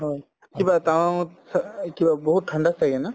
হয়, কিবা টাৱাঙত চ এ কিবা বহুত ঠাণ্ডা ছাগে ন